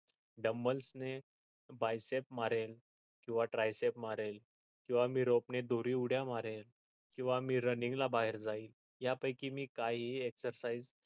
dumbles ने bycheck मारेन किंवा dryset मारेन किंवा मी rob ने दोरिउड्या मारेन किंवा मी running ला बाहेर जाईन या पैकी मी काहीही exercise